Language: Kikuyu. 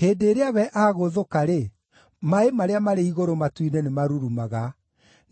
Hĩndĩ ĩrĩa we agũũthũka-rĩ, maaĩ marĩa marĩ igũrũ matu-inĩ nĩmarurumaga;